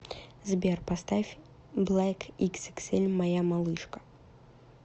сбер поставь блэкиксиксэль моя малышка